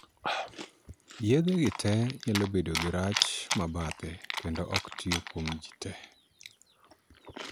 Yedhe gi tee nyalo bedo gi rach mabadhe kendo ok tiyo kuom jii tee.